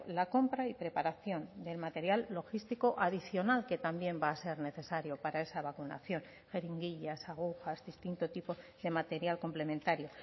la compra y preparación del material logístico adicional que también va a ser necesario para esa vacunación jeringuillas agujas distinto tipo de material complementario